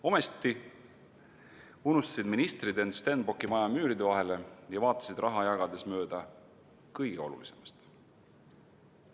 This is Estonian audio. Ometi unustasid ministrid end Stenbocki maja müüride vahele ja vaatasid raha jagades mööda kõige olulisemast.